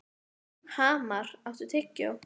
Hamar, áttu tyggjó?